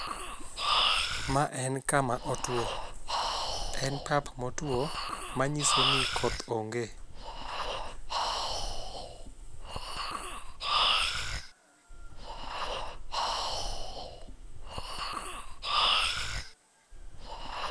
Ma en kama otwo. En pap ma otwo ma nyiso ni koth onge.